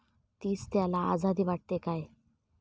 तीच त्याला आझादी वाटते काय?